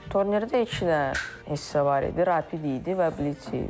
Turnirdə iki dənə hissə var idi, rapid idi və blitz idi.